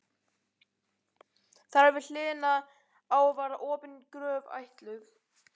Þar við hliðina á var opin gröf ætluð